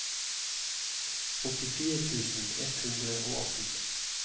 åttifire tusen ett hundre og atten